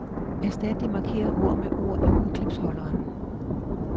Erstat de markerede ord med ord i udklipsholderen.